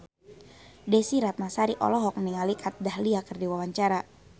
Desy Ratnasari olohok ningali Kat Dahlia keur diwawancara